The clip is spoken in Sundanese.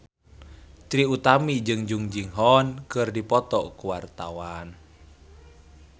Trie Utami jeung Jung Ji Hoon keur dipoto ku wartawan